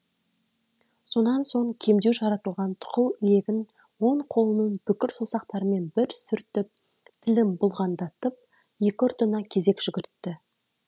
сонан соң кемдеу жаратылған тұқыл иегін оң қолының бүкір саусақтарымен бір сүртіп тілін бұлғаңдатып екі ұртына кезек жүгіртті